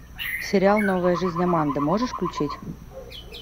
сериал новая жизнь аманды можешь включить